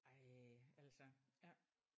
Ej altså ja